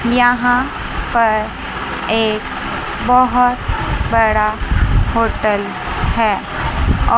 यहां पर एक बहोत बड़ा होटल है और--